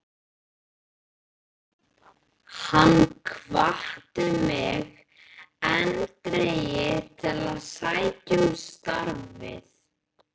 Hann hvatti mig eindregið til að sækja um starfið.